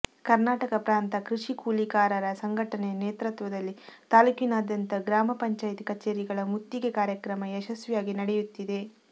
ಕನರ್ಾಟಕ ಪ್ರಾಂತ ಕೃಷಿ ಕೂಲಿಕಾರರ ಸಂಘಟನೆಯ ನೇತೃತ್ವದಲ್ಲಿ ತಾಲ್ಲೂಕಿನಾದ್ಯಂತ ಗ್ರಾಮ ಪಂಚಾಯ್ತಿ ಕಛೇರಿಗಳ ಮುತ್ತಿಗೆ ಕಾರ್ಯಕ್ರಮ ಯಶಸ್ವಿಯಾಗಿ ನಡೆಯುತ್ತಿದೆ